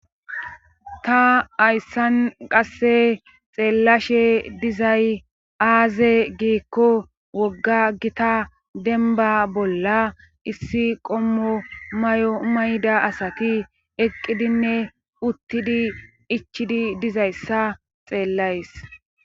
Ta hayssan qasse xeellashe dizay ay aaze giikko wogga gita dembba bolla issi qommo mayo mayida asati eqqidineuttide ichidi dizayssa xeellays